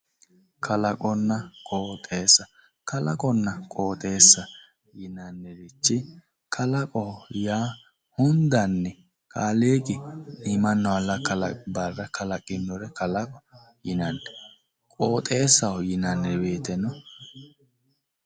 Kalaqonna qoxeessa kalaqonna qoxeessa yinannirichi kalaqo yaa hundanni kaliiqi iimanna uulla kkalaqi barra kalaqinore kalaqoho yinanni qoxeessaho yinanni woyiiteno